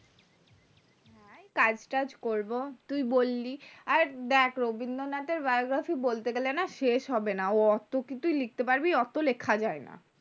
এই কাজ টাজ করবো তুই বললি আর দেখ রবীন্দ্রনাথ এর biography বলতে গেলে না শেষ হবেনা ওত কিছু লিখতে পারবি ওত লেখা যায়না